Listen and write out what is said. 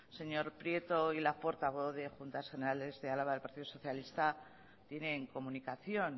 señor prieto y la portavoz de juntas generales de álava del partido socialista tienen comunicación